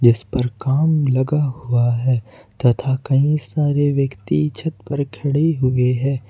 इस पर काम लगा हुआ है तथा कई सारे व्यक्ति छत पर खड़े हुए हैं।